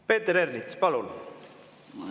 Peeter Ernits, palun!